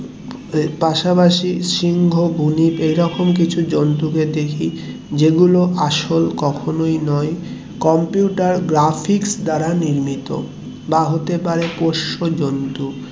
পাশাপাশি সিংহ, বুনিপ এরকম জন্তুদের দেখি যেগুলো আসল কখনোই নয়. computer graphix দ্বারা নির্মিত বা হতে পারে পোষ্য জন্তু